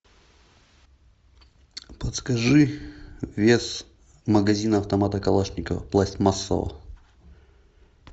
подскажи вес магазина автомата калашникова пластмассового